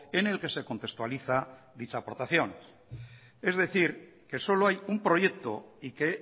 en el que se contextualiza dicha aportación es decir que solo hay un proyecto y que